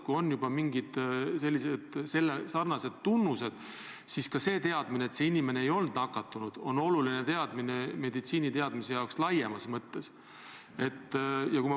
Kui inimesel on mingid selle haiguse tunnused, siis ka teadmine, et ta siiski ei olnud nakatunud, on meditsiiniteaduse jaoks laiemas mõttes oluline.